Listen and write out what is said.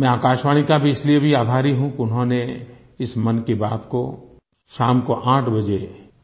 मैं आकाशवाणी का भी इसलिए भी आभारी हूँ कि उन्होंने इस मन की बात को शाम को 800 बजे